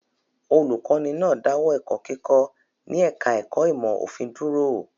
Olùkọ́ní náà dáwọ́ ẹ̀kọ́ kíkọ́ ní ẹ̀ka-ẹ̀kọ́ ìmọ̀-òfin dúró?